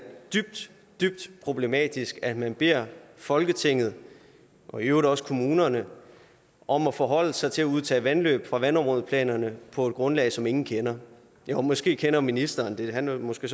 dybt dybt problematisk at man beder folketinget og i øvrigt også kommunerne om at forholde sig til at udtage vandløb fra vandområdeplanerne på et grundlag som ingen kender jo måske kender ministeren det han er måske